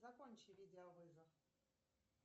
закончи видеовызов